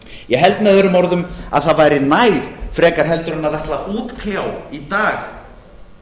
ég held með öðrum orðum að það væri nær frekar heldur en ætla að útkljá í dag